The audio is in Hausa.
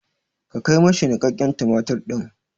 Ka kai ma shi niƙaƙƙen tumatir ɗin!